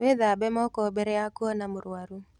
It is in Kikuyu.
Wĩthambe moko mbere ya kuona mũrwaru.